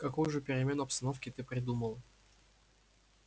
какую же перемену обстановки ты придумал